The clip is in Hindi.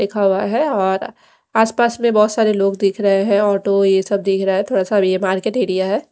लिखा हुआ है और आसपास में बहुत सारे लोग दिख रहे हैं ऑटो ये सब दिख रहा है थोड़ा सा ये मार्केट एरिया है।